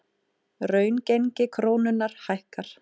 Raungengi krónunnar hækkar